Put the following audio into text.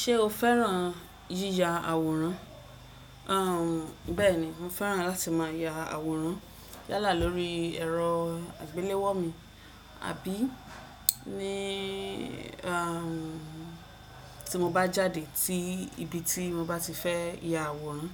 Ṣé o féràn yíya àwòrán? Bẹ́ẹ̀ni, mo féràn láti máa ya àwòrán yálà lórí ẹ̀rọ àgbéléwò mi, àbí ní tí mo bá jáde ti ibi tí mo bá ti fẹ́ ya àwòrán